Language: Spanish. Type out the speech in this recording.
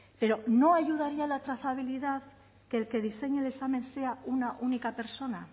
pero no ayudaría a la trazabilidad que el que diseñe el examen sea una única persona